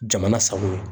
Jamana sago ye